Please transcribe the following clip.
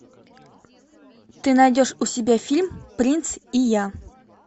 ты найдешь у себя фильм принц и я